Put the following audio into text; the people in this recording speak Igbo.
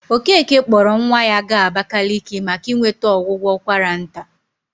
Okeke kpọrọ nwa ya gaa Abakaliki maka inweta ọgwụgwọ ụkwara nta.